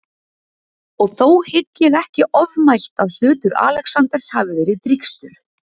Og þó hygg ég ekki ofmælt, að hlutur Alexanders hafi verið drýgstur.